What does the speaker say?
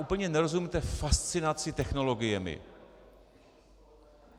Úplně nerozumím té fascinaci technologiemi.